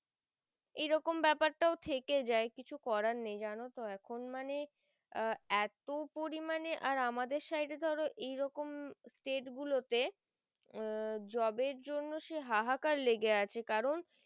এরকম বেপার তও থেকে যায় কিছু করার নেই জানো তো এখুন মানে আহ এতো পরিমানে আর আমাদের side এ তো এরকম state গুলো তে আহ job এর জন্যে হাহা কার লেগে আছে কারণ